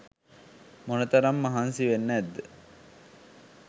මොන තරම් මහන්සි වෙන්න ඇද්ද?